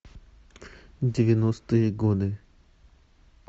девяностые годы